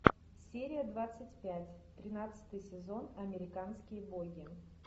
серия двадцать пять тринадцатый сезон американские боги